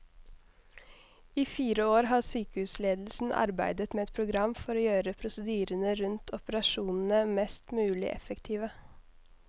I fire år har sykehusledelsen arbeidet med et program for å gjøre prosedyrene rundt operasjonene mest mulig effektive.